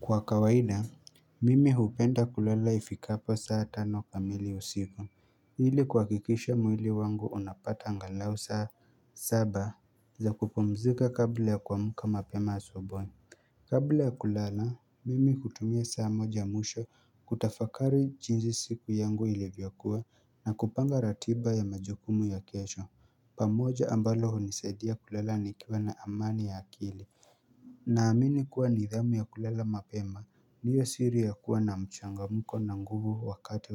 Kwa kawaida, mimi hupenda kulala ifikapo saa tano kamili usiku ili kuhakikisha mwili wangu unapata angalau saa saba za kupumzika kabla ya kuamuka mapema asubuhi Kabla ya kulala, mimi hutumia saa moja ya mwisho kutafakari jinsi siku yangu ilivyokuwa na kupanga ratiba ya majukumu ya kesho pamoja ambalo hunisaidia kulala nikiwa na amani ya akili Naamini kuwa nidhamu ya kulala mapema ndiyo siri ya kuwa na mchangamuko na nguvu wakati